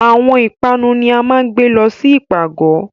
Awọn ipanu ni a maa ǹ gbe lọ si ipagọ